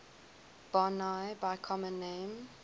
boinae by common name